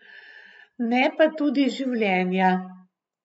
Ne pa tudi življenja.